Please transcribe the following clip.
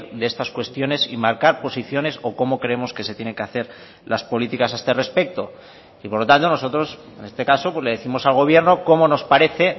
de estas cuestiones y marcar posiciones o como creemos que se tiene que hacer las políticas a este respecto y por lo tanto nosotros en este caso le décimos al gobierno como nos parece